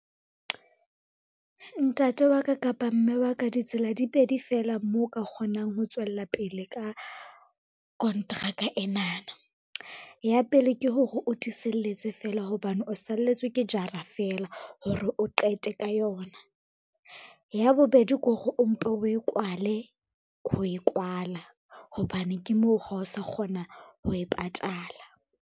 Ntate wa ka kapa mme wa ka ditsela di pedi fela moo o ka kgonang ho tswella pele ka kontraka enana. Ya pele, ke hore o tiiseletse fela hobane o salletswe ke jara feela hore o qete ka yona. Ya bobedi ke hore o mpe o e kwale ho e kwala, hobane ke moo ha o sa kgona ho e patala.